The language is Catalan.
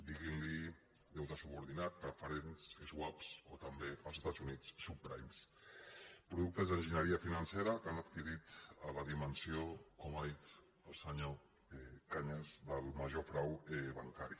diguin·ne deute subordinat prefe·rents swaps o també als estats units subpri·mes productes d’enginyeria financera que han adqui·rit la dimensió com ha dit el senyor cañas del major frau bancari